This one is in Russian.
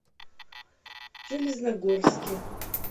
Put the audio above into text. железногорске